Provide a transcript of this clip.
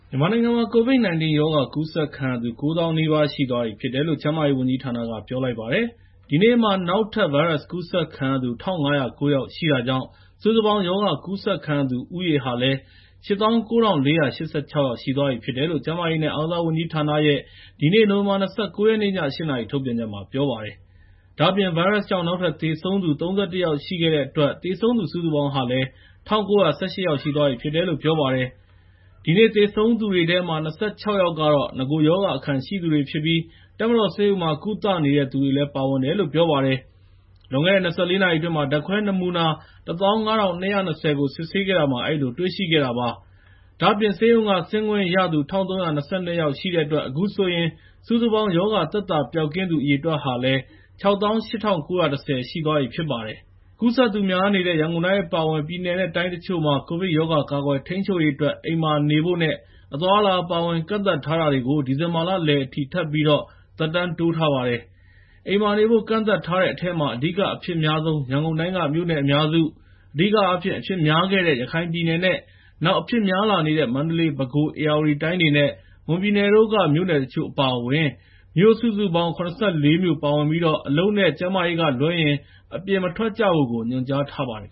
မြန်မာနိုင်ငံမှာ COVID-19 ရောဂါ ကူးစက်ခံရသူ ၉၀,၀၀၀ နီးပါး ရှိသွားပြီဖြစ်တယ်လို့ ကျန်းမာရေးဝန်ကြီးဌာနက ပြောလိုက်ပါတယ်။ ဒီနေ့မှာ နောက်ထပ် ဗိုင်းရပ်စ်ကူးစက်ခံရသူ ၁,၅၀၉ ယောက်ရှိတာကြောင့် စုစုပေါင်း ရောဂါကူးစက်ခံရသူဦးရေဟာ ၈၉,၄၈၆ ယောက်ရှိသွားပြီလို့ ကျန်းမာရေးနဲ့ အားကစားဝန်ကြီးဌာနရဲ့ ဒီနေ့ နိုဝင်ဘာ ၂၉ ရက်နေ့ ည ၈ နာရီ ထုတ်ပြန်ချက်မှာ ပြောပါတယ်။ ဒါ့အပြင် ဗိုင်းရပ်စ်ကြောင့် နောက်ထပ် သေဆုံး ၃၁ ယောက် ရှိခဲ့တဲ့အတွက် သေဆုံးသူစုစုပေါင်း ၁,၉၁၈ ယောက်ရှိသွားပြီဖြစ်တယ်လို့ ပြောပါတယ်။ ဒီနေ့သေဆုံးတဲ့သူတွေထဲမှာ ၂၆ ယောက်ကတော့ နဂိုရောဂါအခံရှိသူတွေဖြစ်ပြီး တပ်မတော်ဆေးရုံမှာ ကုသနေတဲ့သူတွေလည်း ပါဝင်တယ်လို့ ပြောပါတယ်။ လွန်ခဲ့တဲ့ ၂၄ နာရီအတွင်း ဓာတ်ခွဲနမူနာ ၁၅,၂၂၀ ကို စစ်ဆေးခဲ့တာမှာ အဲဒီလိုတွေ့ရှိခဲ့တာ ဖြစ်ပါတယ်။ ဒါ့အပြင် ဆေးရုံက ဆင်းခွင့်ရသူ ၁,၃၂၂ ယောက်ရှိတဲ့အတွက် အခုဆိုရင် စုစုပေါင်း ရောဂါသက်သာပျောက်ကင်းသူ အရေအတွက် ၆၈,၉၁၀ ရှိသွားပြီဖြစ်ပါတယ်။ ကူးစက်သူများနေတဲ့ ရန်ကုန်တိုင်း အပါအဝင် ပြည်နယ်နဲ့ တိုင်းတချို့မှာ ကိုဗစ်ရောဂါ ကာကွယ်ထိန်းချုပ်ရေးအတွက် အိမ်မှာနေဖို့နဲ့ အသွားအလာ အပါအဝင် ကန့်သတ်ထားတာတွေကို ဒီဇင်ဘာလလယ်အထိ ထပ်ပြီး သက်တမ်းတိုးထားပါတယ်။ အိမ်မှာနေဖို့ ကန့်သတ်ထားတဲ့အထဲမှာ အဓိက အဖြစ်အများဆုံး ရန်ကုန်တိုင်းက မြို့နယ်အများစု၊ အဓိကအားဖြင့် အဖြစ်များခဲ့တဲ့ ရခိုင်ပြည်နယ်နဲ့ နောက်အဖြစ်များလာနေတဲ့ မန္တလေး၊ ပဲခူး၊ ဧရာဝတီတိုင်းတွေနဲ့ မွန်ပြည်နယ်တို့က မြို့တချို့ အပါအဝင် မြို့စုစုပေါင်း ၇၄ မြို့ပါဝင်ပြီး အလုပ်နဲ့ ကျန်းမာရေးကလွဲရင် အပြင်မထွက်ကြဖို့ ညွှန်ကြားထားပါတယ်